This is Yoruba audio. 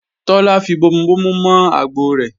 Tọ́lá fi bomubomu mọ àgbọ rẹ̀